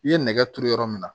I ye nɛgɛ turu yɔrɔ min na